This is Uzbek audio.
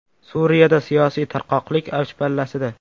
Suriyada siyosiy tarqoqlik avj pallasida.